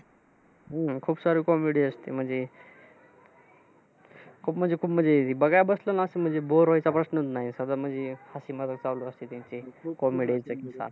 हम्म खूप सारी comedy असते. म्हणजे खूप म्हणजे, खूप म्हणजे अह बघायला बसला ना कि bore व्हायचा प्रश्न नाही, चालू असते त्यांची. Full comedy.